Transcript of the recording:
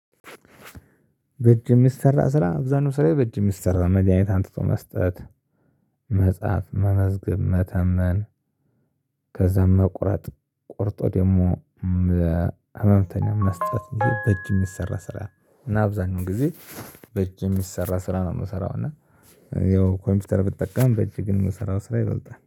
በእጅ የሚሰራ ስራ አብዛኛው ስራየ በእጅ ሚሰራ መድሃኒት አንጥቶ መስጠት መጽሐፍ መመዝገብ መተመን። ከዛም መቁረጥ ቆርጦ ደግሞ መእ ለህምተኛ መስጠት በእጅ የሚሰራ ስራ። እና አብዛኛው ጊዜ በእጅ የሚሰራ ስራ ነው የምሰራው እና። ያው ኮምፒውተር ብትጠቀምም በእጅ ግን ምሰራው ስራ ይበልጣል